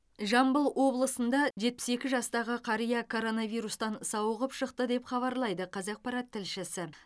жамбыл облысында жетпіс екі жастағы қария коронавирустан сауығып шықты деп хабарлайды қазақпарат тілшісі